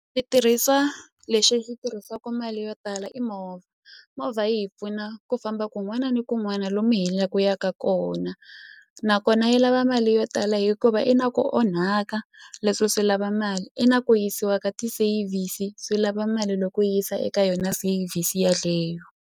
Switirhisa lexi tirhisisaku mali yo tala i movha movha yi hi pfuna ku famba kun'wana ni kun'wana lomu hi la ku yaka kona nakona yi lava mali yo tala hikuva i na ku onhaka leswo swi lava mali i na ku yisiwa ka ti-service swi lava mali loko yisa eka yona service yaleyo.